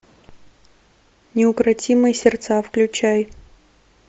неукротимые сердца включай